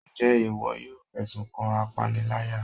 njẹ iwọ yọọ fesún kan apáníláyá?